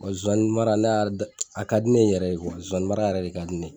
zonzannin mara ne y'a, a ka di ne yɛrɛ ye , zonzannin mara yɛrɛ de ka di ne